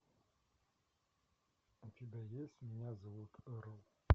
у тебя есть меня зовут ру